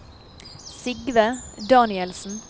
Sigve Danielsen